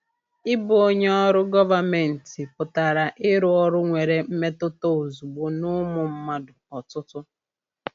Ịbụ onye ọrụ gọvanmentị pụtara irụ ọrụ nwere mmetụta ozugbo n’ụmụ mmadụ ọtụtụ.